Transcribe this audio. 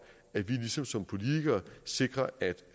at vi som politikere sikrer at